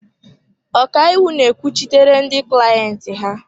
Ọkaiwu na-ekwuchitere ndị clayenti ha.